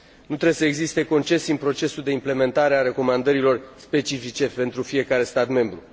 Nu trebuie să existe concesii în procesul de implementare a recomandărilor specifice pentru fiecare stat membru.